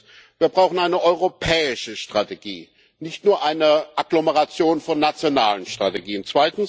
Erstens Wir brauchen eine europäische Strategie, nicht nur eine Agglomeration von nationalen Strategien.